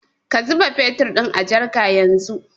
Ka zuba fetur ɗin a jarka yanzu